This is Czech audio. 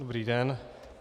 Dobrý den.